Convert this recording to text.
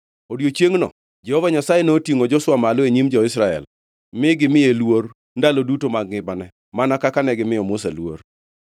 E odiechiengʼno, Jehova Nyasaye notingʼo Joshua malo e nyim jo-Israel, mi gimiye luor ndalo duto mag ngimane, mana kaka negimiyo Musa luor.